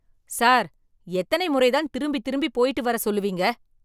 Sir, எத்தனை முறை தான் திரும்பி திரும்பி போயிட்டு வர சொல்லுவீங்க.